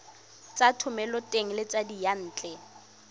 tsa thomeloteng le tsa diyantle